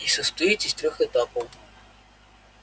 и состоит из трёх этапов